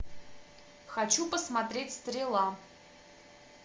хочу посмотреть стрела